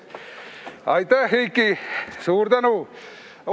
Aitäh, Eiki, suur tänu!